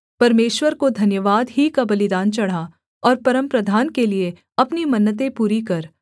परमेश्वर को धन्यवाद ही का बलिदान चढ़ा और परमप्रधान के लिये अपनी मन्नतें पूरी कर